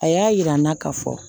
A y'a yira n na ka fɔ